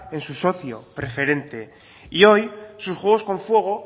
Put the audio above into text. en su socio preferente y hoy sus juegos con fuego